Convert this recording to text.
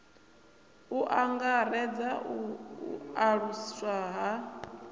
u angaredza u aluswa ha